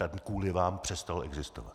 Ten kvůli vám přestal existovat!